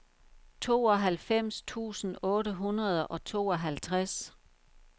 tooghalvfems tusind otte hundrede og tooghalvtreds